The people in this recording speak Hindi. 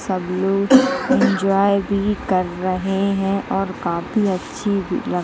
सब लोग इन्जॉय भी कर रहे हैं और काफी अच्छी लग --